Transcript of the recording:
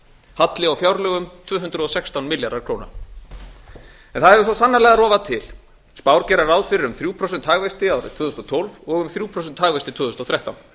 halli á fjárlögum tvö hundruð og sextán milljarðar króna það hefur svo sannarlega rofað til spár gera ráð fyrir um þriggja prósenta hagvexti árið tvö þúsund og tólf og um þriggja prósenta hagvexti tvö þúsund og þrettán